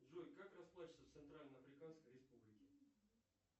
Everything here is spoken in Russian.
джой как расплачиваться в центральной африканской республике